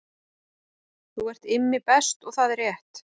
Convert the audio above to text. Þú ert Immi Best og það er rétt